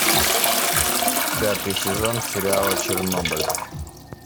пятый сезон сериала чернобыль